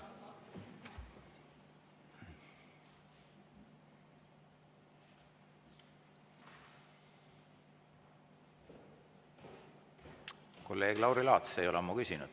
Kolleeg Lauri Laats ei ole ammu küsinud.